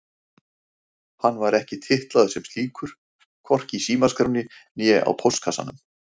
Hann var ekki titlaður sem slíkur, hvorki í símaskránni né á póstkassanum.